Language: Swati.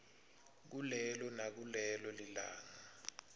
kulelo nakulelo libanga